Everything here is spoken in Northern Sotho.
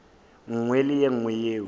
nngwe le ye nngwe yeo